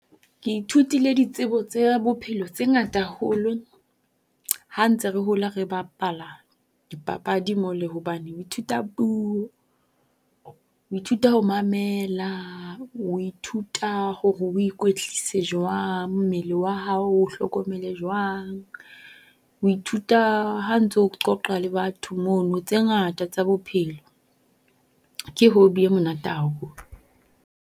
Ke ithutile ditsebo tse bophelo tse ngata haholo. Ha ntse re hola re bapala dipapadi mole hobane, o ithuta puo, o ithuta ho mamela, o ithuta hore o ikwetlisetsa jwang. Mmele wa hao o hlokomele jwang. Ho ithuta ha ntso qoqa le batho mono tse ngata tsa bophelo, ke hobby e monate haholo.